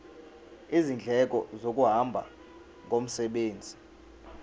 izindleko zokuhamba ngomsebenzi